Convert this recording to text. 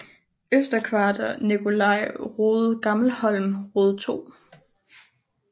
Øster Kvarter Nicolai Rode Gammelholm Rode 2